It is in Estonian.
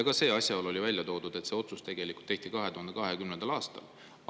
Ka see asjaolu oli välja toodud, et otsus tehti 2020. aastal.